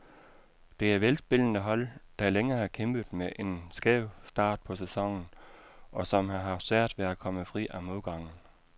Det er velspillende hold, der længe har kæmpet med en skæv start på sæsonen, og som har haft svært ved at komme fri af modgangen.